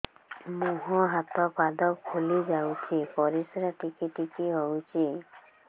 ମୁହଁ ହାତ ପାଦ ଫୁଲି ଯାଉଛି ପରିସ୍ରା ଟିକେ ଟିକେ ହଉଛି